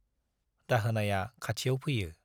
दाहोनाया खाथियाव फैयो।